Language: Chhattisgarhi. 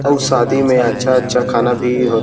अऊ शादी में अच्छा-अच्छा खाना भी --